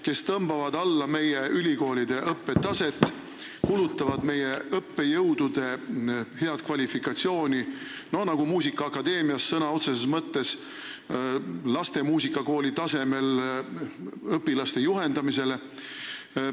Nad tõmbavad alla meie ülikoolide õppetaset, kulutavad meie õppejõudude head kvalifikatsiooni, nagu muusikaakadeemias sõna otseses mõttes laste muusikakooli tasemel õpilaste juhendamine.